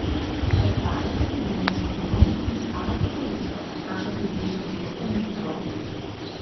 Razdalja med jedilnim šotorom in skalnato polico znaša približno dvesto metrov.